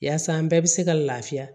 Yaasa an bɛɛ bɛ se ka lafiya